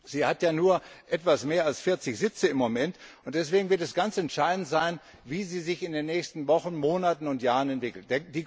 Sie hat ja im Moment nur etwas mehr als 40 Sitze. Deswegen wird es ganz entscheidend sein, wie sie sich in den nächsten Wochen, Monaten und Jahren entwickelt.